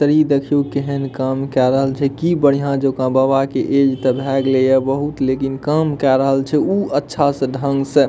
इ देखियो केहेन काम के रहल छै की बढ़िया जोका बाबा के ऐज ते भाए गेले ये बहुत लेकिन काम केय रहल छै उ अच्छा से ढंग से --